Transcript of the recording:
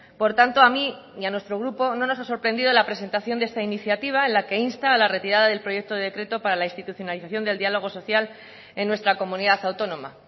por tanto a mí y a nuestro grupo no nos ha sorprendido la presentación de esta iniciativa en la que insta la retirada del proyecto de decreto para la institucionalización del diálogo social en nuestra comunidad autónoma